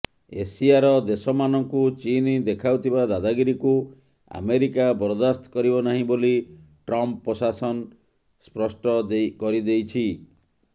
ଏସିଆର ଦେଶମାନଙ୍କୁ ଚୀନ ଦେଖାଉଥିବା ଦାଦାଗିରିକୁ ଆମେରିକା ବରଦାସ୍ତ କରିବ ନାହିଁ ବୋଲି ଟ୍ରମ୍ପ ପ୍ରଶାସନ ସ୍ପଷ୍ଟ କରିଦେଇଛି